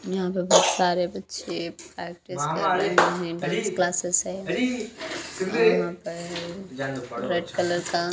यहां पे बहुत सारे बच्चे प्रैक्टिस कर रहें हैं डांस क्लासेस है और वहां पर रेड कलर का--